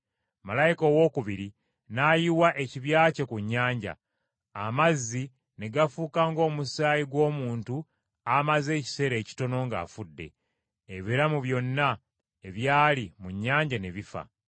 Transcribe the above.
Malayika owookubiri n’ayiwa ekibya kye ku nnyanja, amazzi ne gafuuka ng’omusaayi gw’omuntu amaze ekiseera ekitono ng’afudde. Ebiramu byonna ebyali mu nnyanja ne bifa.